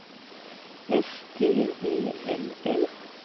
S T E L L